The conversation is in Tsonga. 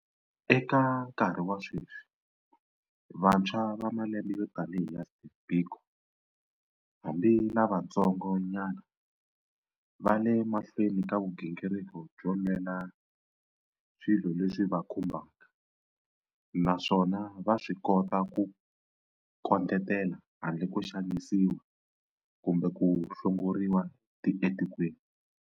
Eka nkarhi wa sweswi, vantshwa va malembe yo tanihi ya Steve Biko hambi lavantsongo nyana va le mahlweni ka vugingiriki byo lwela swilo leswi va khumbaka, naswona va swi kota ku kondletela handle ko xanisiwa kumbe ku hlongoriwa tikweni.